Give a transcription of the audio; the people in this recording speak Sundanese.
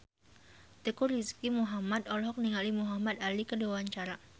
Teuku Rizky Muhammad olohok ningali Muhamad Ali keur diwawancara